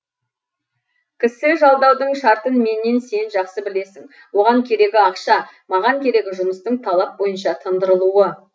кісі жалдаудың шартын меннен сен жақсы білесің оған керегі ақша маған керегі жұмыстың талап бойынша тындырылуы